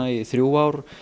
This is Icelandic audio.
í þrjú ár